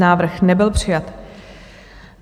Návrh nebyl přijat.